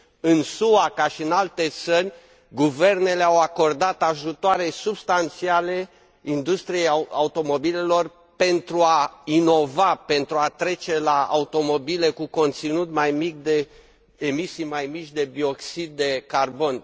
În SUA, ca și în alte țări, guvernele au acordat ajutoare substanțiale industriei automobilelor, pentru a inova, pentru a trece la automobile cu emisii mai mici de dioxid de carbon.